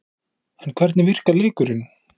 En hvernig virkar leikurinn?